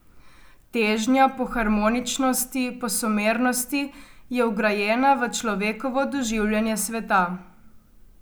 Težnja po harmoničnosti, po somernosti je vgrajena v človekovo doživljanje sveta.